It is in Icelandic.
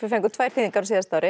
fengum tvær þýðingar á síðasta ári